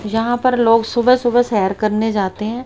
यहां पर लोग सुबह सुबह सैर करने जाते हैं।